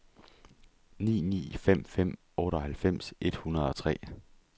ni ni fem fem otteoghalvfems et hundrede og tre